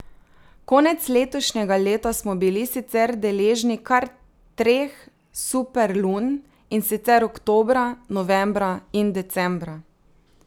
Konec letošnjega leta smo bili sicer deležni kar treh superlun, in sicer oktobra, novembra in decembra.